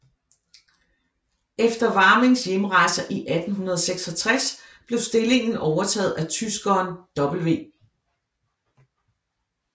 Efter Warmings hjemrejse i 1866 blev stillingen overtaget af tyskeren W